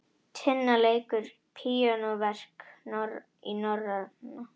Tinna leikur píanóverk í Norræna